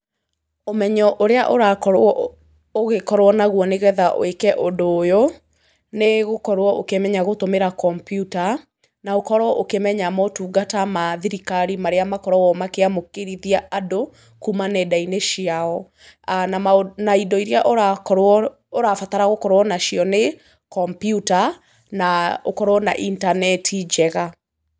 Ũmenyo ũrĩa ũrakorwo ũgĩkorwo naguo nĩ getha wĩke ũndu ũyũ, nĩ gũkorwo ũkĩmenya gũtũmĩra kompyuta, na ũkorwo ũkĩmenya motungata ma thirikari marĩa makoragwo makĩamũkĩrithia andũ kuuma nenda-inĩ ciao. Na indo iria ũrabarata gũkorwo na cio nĩ, kompyuta na ũkorwo na intaneti njega.